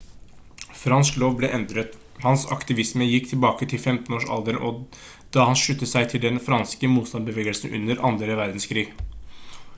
fransk lov ble endret hans aktivisme gikk tilbake til 15 års alderen da han sluttet seg til den franske motstandsbevegelsen under andre verdenskrig